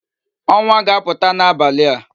Onwa ga-aputa n'abali a